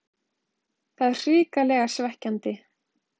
Það er hrikalega svekkjandi.